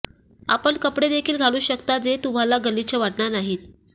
आपण कपडे देखील घालू शकता जे तुम्हाला गलिच्छ वाटणार नाही